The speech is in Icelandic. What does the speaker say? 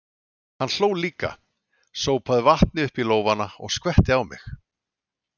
Hann hló líka, sópaði vatni upp í lófana og skvetti á mig.